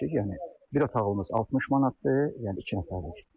Yəni bir otaqlımız 60 manatdır, yəni iki nəfərlik.